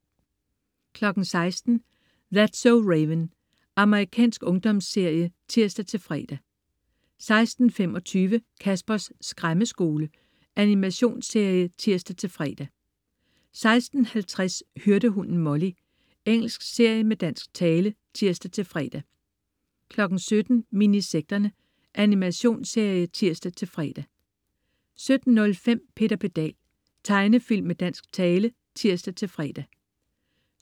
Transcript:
16.00 That's so Raven. Amerikansk ungdomsserie (tirs-fre) 16.25 Caspers Skræmmeskole. Animationsserie (tirs-fre) 16.50 Hyrdehunden Molly. Engelsk serie med dansk tale (tirs-fre) 17.00 Minisekterne. Animationsserie (tirs-fre) 17.05 Peter Pedal. Tegnefilm med dansk tale (tirs-fre)